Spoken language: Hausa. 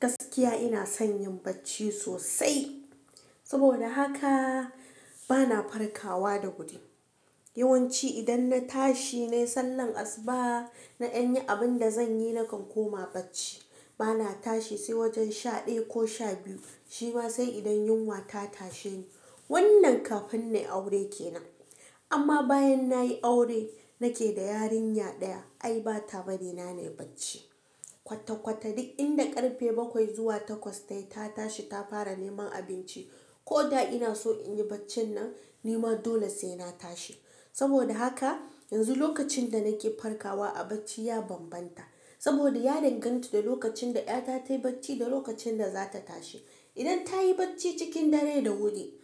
Gaskiya ina son yin bacci sosai. Saboda haka bana farkawa da wuri. Yawanci idan na tashi nayi sallar asuba, na ɗan yi abin da zan yi na kan koma bacci. Bana tashi sai wajen shaɗaya ko sha biyu. Shi ma sai idan yunwa ta tashe ni. Wannan kafin na yi aure ke nan. Amma bayan nayi aure nake da yarinya ɗaya. Ai bata bari na nai bacci. Kwata kwata duk inda karfe bakwai zuwa takwas tayi ta tashi ta fara neman abinci. Ko da ina so in yi bacci nan, ni ma dole sai na tashi. Saboda haka yanzu lokacin da nake farkawa a bacci ya bambanta. Saboda ya danganta da lokacin da ƴata tayi bacci da lokacin da zata tashi. Idan ta yi bacci cikin dare da wuri,